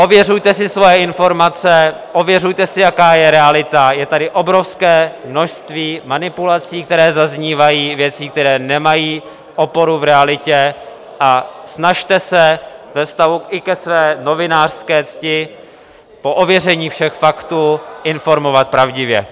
Ověřujte si své informace, ověřujte si, jaká je realita, je tady obrovské množství manipulací, které zaznívají, věcí, které nemají oporu v realitě, a snažte se ve vztahu i ke své novinářské cti po ověření všech faktů informovat pravdivě.